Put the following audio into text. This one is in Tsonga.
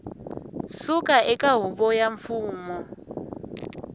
suka eka huvo ya mfumo